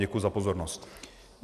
Děkuji za pozornost.